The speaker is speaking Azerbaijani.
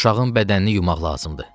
Uşağın bədənini yumaq lazımdır.